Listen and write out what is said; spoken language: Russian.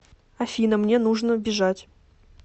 афина мне нужно бежать